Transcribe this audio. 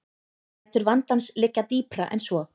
Rætur vandans liggja dýpra en svo